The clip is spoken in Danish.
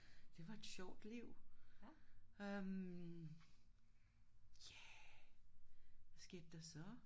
Det var et sjovt liv. Øh ja hvad skete der så